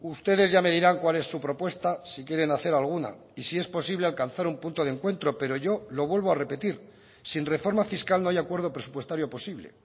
ustedes ya me dirán cuál es su propuesta si quieren hacer alguna y si es posible alcanzar un punto de encuentro pero yo lo vuelvo a repetir sin reforma fiscal no haya acuerdo presupuestario posible